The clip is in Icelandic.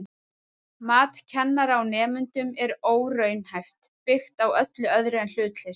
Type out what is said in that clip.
Mat kennara á nemendum er óraunhæft, byggt á öllu öðru en hlutleysi.